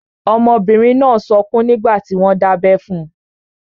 Ọmọbìnrin náà n sọkún nígbàtí wọ́n n dábẹ́ fun.